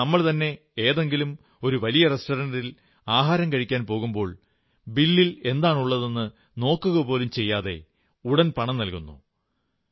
എന്നാൽ ആ നമ്മൾതന്നെ ഏതെങ്കിലും വലിയ റെസ്റ്ററന്റിൽ ആഹാരം കഴിക്കാൻ പോകുമ്പോൾ ബില്ലിൽ എന്താണുള്ളതെന്നു നോക്കുകപോലും ചെയ്യാതെ ഉടൻ പണം നല്കുന്നു